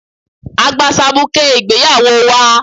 A gba sabuké ìgbéyawó wa